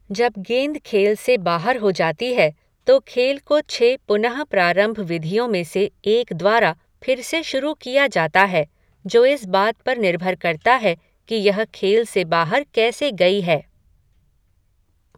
जब गेंद खेल से बाहर हो जाती है, तो खेल को छः पुनः प्रारंभ विधियों में से एक द्वारा फिर से शुरू किया जाता है, जो इस बात पर निर्भर करता है कि यह खेल से बाहर कैसे गई है।